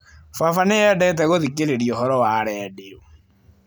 Baba nĩ endete gũthikĩrĩria ũhoro wa redio.